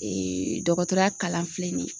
dɔgɔtɔrɔya kalan filɛ nin ye